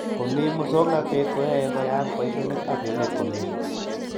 Komi masongnatet koyaie koyayak boishonik ab emet komye